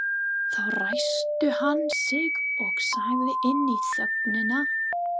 Þá ræskti hann sig og sagði inn í þögnina